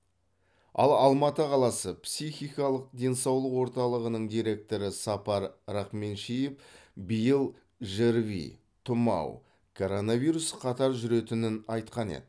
ал алматы қаласы психикалық денсаулық орталығының директоры сапар рахменшеев биыл жрви тұмау коронавирус қатар жүретінін айтқан еді